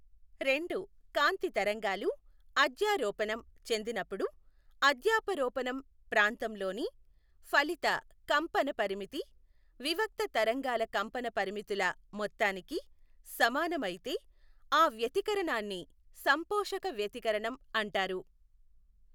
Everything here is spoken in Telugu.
రెండు కాంతి తరంగాలు అధ్యారోపణం చెందినప్పుదు అధ్యాపరోపణం ప్రాంతంలోని ఫలిత కంపన పరిమితి వివక్త తరంగాల కంపన పరిమితుల మొత్తానికి సమానం అయితే ఆ వ్యతి కరణాన్ని సంపోషక వ్యతికరణం అంటారు.